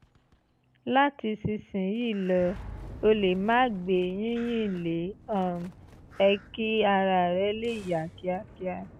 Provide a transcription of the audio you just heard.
láti ìsinsìnyí lọ o lè máa gbé yìnyín lé um e kí ara rẹ lè yá kíákíá